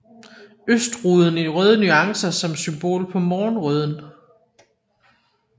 Østruden i røde nuancer som symbol på morgenrøden